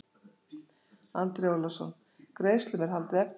Andri Ólafsson: Greiðslum er haldið eftir?